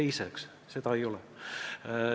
Aga seda ei ole.